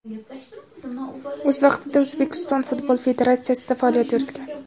O‘z vaqtida O‘zbekiston futbol federatsiyasida faoliyat yuritgan.